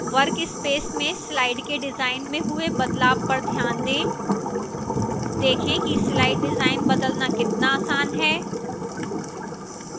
workspace में slide के design में हुए बदलाव पर ध्यान दें देखें कि slide डिजाइन बदलना कितना आसान है